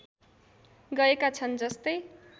गएका छन् जस्तै